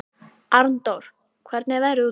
Arndór, hvernig er veðrið úti?